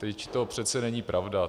Vždyť to přece není pravda.